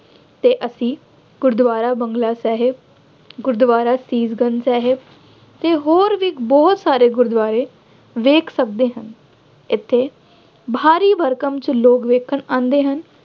ਅਤੇ ਅਸੀਂ ਗੁਰਦੁਆਰਾ ਬੰਗਲਾ ਸਾਹਿਬ, ਗੁਰਦੁਆਰਾ ਸ਼ੀਸ਼ ਗੰਜ਼ ਸਾਹਿਬ ਅਤੇ ਹੋਰ ਵੀ ਬਹੁਤ ਸਾਰੇ ਗੁਰਦੁਆਰੇ ਵੇਖ ਸਕਦੇ ਹਾਂ। ਇੱਥੇ ਭਾਰੀ ਭਰਕਮ ਵਿੱਚ ਲੋਕ ਵੇਖਣ ਆਉਂਦੇ ਹਨ।